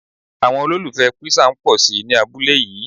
Àwọn olùfẹ Písà ń pòsi ní abúlé yí.